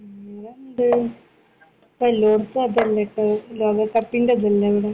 വേറെന്ത്? ലോകകപ്പിന്റെ ഇതല്ലേ ഇവിടെ.